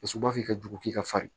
U sumanfin ka jugu k'i ka fari